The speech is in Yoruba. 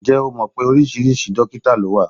Ǹjẹ́ o mọ̀ pé oríṣi dókítà ló wà?